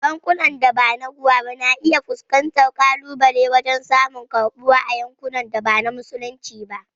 Bankunan da ba na ruwa ba na iya fuskantar kalubale wajen samun karbuwa a yankunan da ba na Musulunci ba.